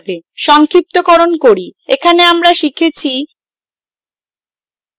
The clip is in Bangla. সংক্ষিপ্তকরন করি এখানে আমরা শিখেছি: